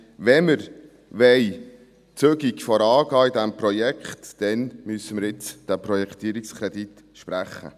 Wenn wir zügig vorangehen wollen in diesem Projekt, dann müssen wir jetzt diesen Projektierungskredit sprechen.